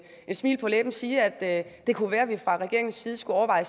smil på læben sige at det kunne være at vi fra regeringens side skulle overveje